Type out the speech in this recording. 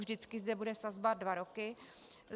Vždycky zde bude sazba dva roky.